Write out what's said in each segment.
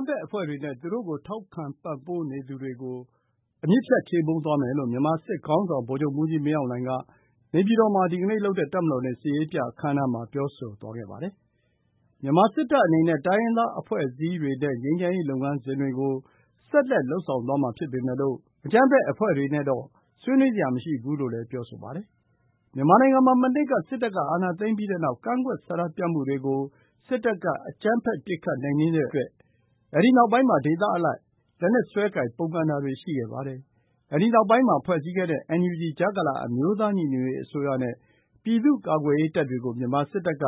မ်းဖက်အဖွဲ့တွေနဲ့ သူတို့ကို ထောက်ခံပံ့ပိုးနေသူတွေကို အမြစ်ဖြတ် ချေမှုန်းသွားမယ်လို့ မြန်မာစစ်ခေါင်းဆောင် ဗိုလ်ချုပ်မှူးကြီးမင်းအောင်လှိုင်က နေပြည်တော်မှာ ဒီကနေ့လုပ်တဲ့ တပ်မတော်နေ့ စစ်ရေးပြအခမ်းအနားမှာ ပြောဆိုသွားပါတယ်။ မြန်မာစစ်တပ်အနေနဲ့ တိုင်းရင်းသား အဖွဲ့အစည်းတွေနဲ့ ငြိမ်းချမ်းရေးလုပ်ငန်းစဉ်တွေကို ဆက်လက်လုပ်ဆောင်သွားမှာ ဖြစ်ပေမယ့်လို့ အကြမ်းဖက်အဖွဲ့တွေနဲ့တော့ ဆွေးနွေးစရာ မရှိဘူးလို့လည်း ပြောဆိုပါတယ်။ မြန်မာနိုင်ငံမှာ မနှစ်က စစ်တပ်က အာဏာသိမ်းပြီးနောက် ကန့်ကွက်ဆန္ဒပြမှုတွေကို စစ်တပ်က အကြမ်းဖက် ပစ်ခတ်နှိမ်နင်းတဲ့အတွက် အဲဒီနောက်ပိုင်းမှာ ဒေသအလိုက် လက်နက်စွဲကိုင် ပုန်ကန်တာတွေ ရှိခဲ့ပါတယ်။ အဲဒီနောက်ပိုင်း ဖွဲ့စည်းခဲ့တဲ့ NUG ကြားကာလ အမျိုးသားညီညွတ်ရေးအစိုးရနဲ့ ပြည်သူ့ကာကွယ်ရေးတပ်တွေကို မြန်မာစစ်တပ်က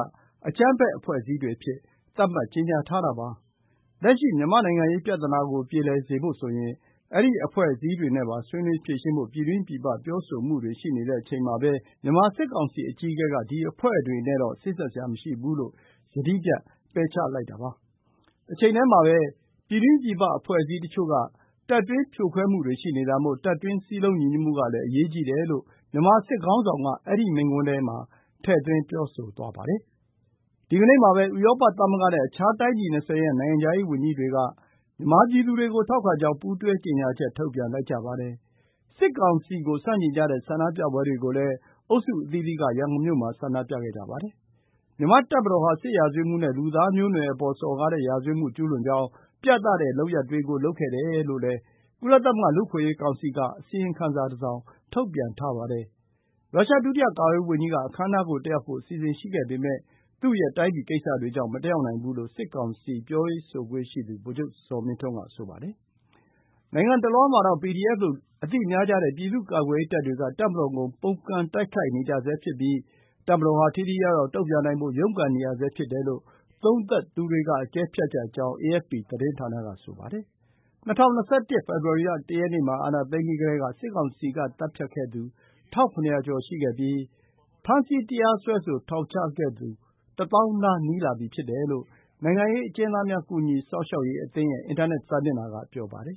အကြမ်းဖက် အဖွဲ့အစည်းတွေအဖြစ် သတ်မှတ်ကြေညာထားတာပါ။ လက်ရှိ မြန်မာ့နိုင်ငံရေး ပြဿနာကို ပြေလည်စေဖို့ဆိုရင် အဲဒီအဖွဲ့အစည်းတွေနဲ့ပါ ဆွေးနွေးဖြေရှင်းဖို့ ပြည်တွင်းပြည်ပ ပြောဆိုမှုတွေရှိတဲ့ အချိန်မှာပဲ မြန်မာစစ်ကောင်စီ အကြီးအကဲက ဒီအဖွဲ့တွေနဲ့တော့ စေ့စပ်စရာမရှိဘူးလို့ ယတိပြတ် ပယ်ချခဲ့တာပါ။ တချိန်တည်းမှာပဲ ပြည်တွင်းပြည်ပ အဖွဲ့အစည်းတချို့က တပ်တွင်းဖြိုခွဲမှုတွေ ရှိနေတာမို့ တပ်တွင်း စည်းလုံးညီညွတ်မှုကလည်း အရေးကြီးတယ်လို့ မြန်မာစစ်ခေါင်းဆောင်က အဲဒီမိန့်ခွန်းထဲ ထည့်သွင်း ပြောသွားပါတယ်။ ဒီနေ့မှာပဲ တိုင်းပြည် ၂၀ ရဲ့ နိုင်ငံခြားရေးဝန်ကြီးတွေက မြန်မာပြည်သူတွေကို ထောက်ခံကြောင်း ပူးတွဲကြေညာချက် ထုတ်ပြန်လိုက်ကြပါတယ်။ စစ်ကောင်စီကို ဆန့်ကျင်ကြတဲ့ ဆန္ဒပြပွဲတွေကိုလည်း အုပ်စုအသီးသီးက ရန်ကုန်မြို့မှာ ဆန္ဒပြခဲ့ကြပါတယ်။ မြန်မာ့တပ်မတော်ဟာ စစ်ရာဇဝတ်မှုနဲ့ လူသားမျိုးနွယ်အပေါ် စော်ကားတဲ့ ရာဇဝတ်မှု ကျူးလွန်ကြောင်း ပြသတဲ့ လုပ်ရပ်တွေကို လုပ်ခဲ့တယ်လို့လည်း ကုလသမဂ္ဂ လူ့အခွင့်အရေးကောင်စီက အစီရင်ခံစာတစောင် ထုတ်ပြန်ထားပါတယ်။ ရုရှား ဒုတိယကာကွယ်ရေးဝန်ကြီးက အခမ်းအနားကို တက်ရောက်ဖို့ အစီအစဉ် ရှိခဲ့ပေမဲ့ သူ့ရဲ့တိုင်းပြည်ကိစ္စတွေကြောင့် မတက်ရောက်နိုင်ဘူးလို့ စစ်ကောင်စီ ပြောရေးဆိုခွင့်ရှိသူ ဗိုလ်ချုပ်ဇော်မင်းထွန်းက ဆိုပါတယ်။ နိုင်ငံတလွှားမှာတော့ PDF လို့ အသိများကြတဲ့ ပြည်သူ့ကာကွယ်ရေးတပ်တွေက တပ်မတော်ကို ပုန်ကန် တိုက်ခိုက်နေကြဆဲ ဖြစ်ပြီး တပ်မတော်ဟာ ထိထိရောက်ရောက် တုံ့ပြန်နိုင်ဖို့ ရုန်းကန်နေရဆဲ ဖြစ်တယ်လို့ သုံးသပ်သူတွေက အကဲဖြတ်ကြကြောင်း အေအက်ဖ်ပီသတင်းဌာနက ဆိုပါတယ်။ ၂၀၂၁ ဖေဖော်ဝါရီလ ၁ ရက်နေ့မှာ အာဏာသိမ်းပြီးကတည်းက စစ်ကောင်စီက သတ်ဖြတ်ခဲ့သူ ၁,၇၀၀ ကျော်ရှိပြီး ဖမ်းဆီးတရားစွဲဆို ထောင်ချခဲ့သူ ၁၀,၀၀၀ နား နီးလာပြီဖြစ်တယ်လို့ နိုင်ငံရေးအကျဉ်းသားများ ကူညီစောင့်ရှောက်ရေးအသင်းရဲ့ အင်တာနက် စာမျက်နှာက ပြောပါတယ်